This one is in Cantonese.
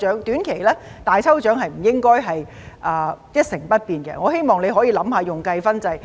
短期而言，"大抽獎"是不應該一成不變的，我希望你可以用計分制。